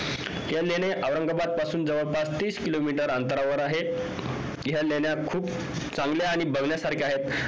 ह्या लेण्या औरंगाबाद पासून जवळपास तीस किलोमीटर अंतरावर आहेत ह्या लेण्या खूप चांगल्या आणि बघण्यासारख्या आहेत